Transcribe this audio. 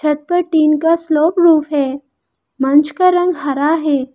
घर पर टीन का श्लोक रूप है मंच का रंग हरा है।